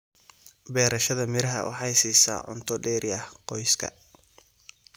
Beerashada miraha waxay siisaa cunto dheeri ah qoyska.